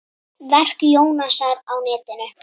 Verk Jónasar á netinu